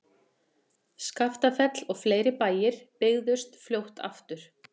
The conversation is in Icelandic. Skaftafell og fleiri bæir byggðust fljótt aftur.